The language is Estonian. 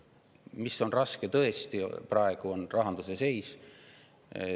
Mis tõesti on praegu raske, on rahanduse seis.